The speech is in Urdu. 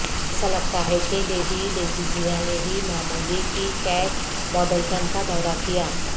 ایسا لگتا ہے کہ لیڈی لیجیزیا نے بھی معمولی کی کیٹ مڈلٹن کا دورہ کیا